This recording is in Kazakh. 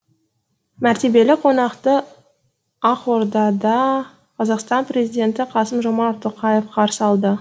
мәртебелі қонақты ақордада қазақстан президенті қасым жомарт тоқаев қарсы алды